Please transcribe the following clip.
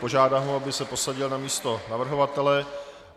Požádám ho, aby se posadil na místo navrhovatele.